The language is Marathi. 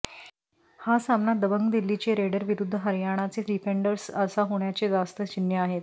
हा सामना दबंग दिल्लीचे रेडर विरुद्ध हरयाणाचे डिफेंडर्स असा होण्याचे जास्त चिन्हे आहेत